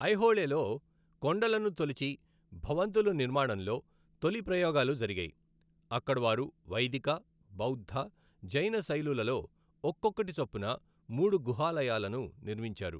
ఐహోళేలో కొండలను తొలిచి భవంతుల నిర్మాణంలో తొలి ప్రయోగాలు జరిగాయి, అక్కడ వారు వైదిక, బౌద్ధ, జైన శైలులలో ఒక్కొక్కటి చొప్పున మూడు గుహాలయాలను నిర్మించారు.